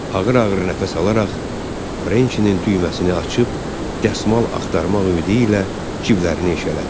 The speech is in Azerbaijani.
Ağır-ağır nəfəs alaraq Frençinin düyməsini açıb dəsmal axtarmaq ümidi ilə ciblərini eşələdi.